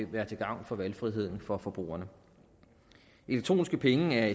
være til gavn for valgfriheden for forbrugerne elektroniske penge er